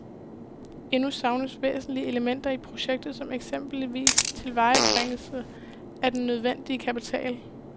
Endnu savnes væsentlige elementer i projektet som eksempelvis tilvejebringelse af den nødvendige kapital.